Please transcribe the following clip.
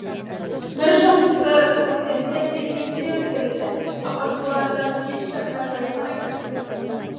бір жақсысы көксемсер дер кезінде өлтірілді апат бұл арадан еш жаққа жайылмайды